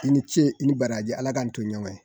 I ni ce i ni baraji ala k'an to ɲɔgɔn ye